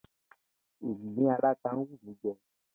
Ìgbín aláta ń wù mí je̩